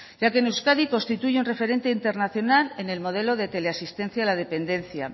ya que en euskadi constituye un referente internacional en el modelo de teleasistencia a la dependencia